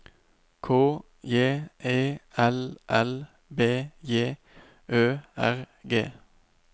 K J E L L B J Ø R G